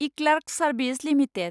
eClerx service limited